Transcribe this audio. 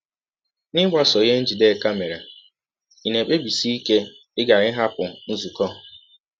N’ịgbasọ ihe Njideka mere, ị̀ na - ekpebisi ike ịghara ịhapụ nzụkọ?